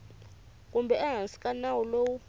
kumbe ehansi ka nawu lowu